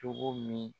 Cogo min